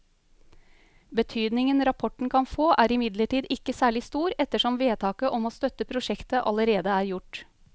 Betydningen rapporten kan få er imidlertid ikke særlig stor ettersom vedtaket om å støtte prosjektet allerede er gjort.